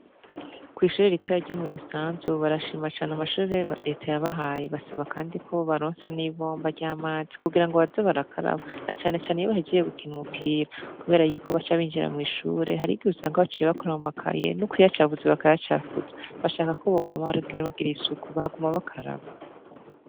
Kw'ishure ritoya ryo mu busanzu barashima cane amashure reta yabahaye basaba kandiko bobaronsa n'ibomba ry'amazi kugirango baze barakaraba na cane cane iyo bahejeje gukina umupira kubera yuko baca binjira mw'ishure, harigihe usanga baciye bakora mu makaye n'ukuyacafuza bakayacafuza bashakako bokwama baragira isuku bakaguma bakaraba.